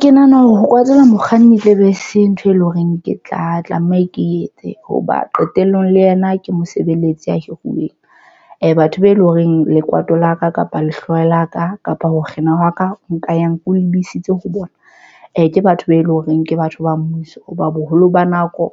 Ke nahana hore ho kwatela mokganni e tle be se ntho, e leng horeng. Ke tla tlameha ke etse hoba qetellong le yena ke mosebeletsi a hiruweng batho be eleng horeng lekwato la ka, kapa le hlooho la ka kapa ho kgina wa ka nka ya nko lebisitse ho bona. Ke batho be eleng horeng ke batho ba mmuso ba boholo ba nako